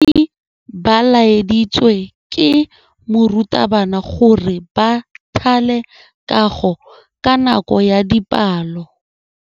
Baithuti ba laeditswe ke morutabana gore ba thale kagô ka nako ya dipalô.